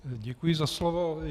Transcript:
Děkuji za slovo.